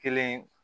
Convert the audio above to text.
Kelen